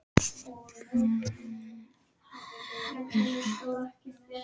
Fullorðna fólkið var lafhrætt við þessa slysagildru.